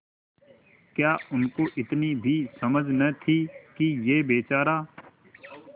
क्या उनको इतनी भी समझ न थी कि यह बेचारा